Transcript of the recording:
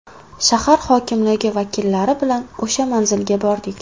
Shahar hokimligi vakillari bilan o‘sha manzilga bordik.